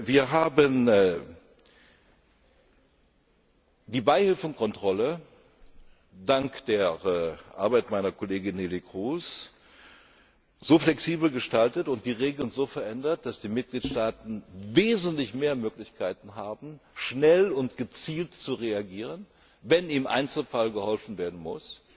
Wir haben die Beihilfenkontrolle dank der Arbeit meiner Kollegin Neelie Kroes so flexibel gestaltet und die Regeln so verändert, dass die Mitgliedstaaten wesentlich mehr Möglichkeiten haben, schnell und gezielt zu reagieren, wenn im Einzelfall geholfen werden